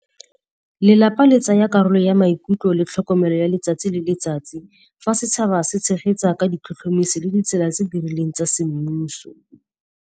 Lelapa le tsaya karolo ya maikutlo le tlhokomelo ya letsatsi le letsatsi, fa setšhaba se tshegetsa ka ditlhotlhomiso le ditsela tse di rileng tsa semmuso.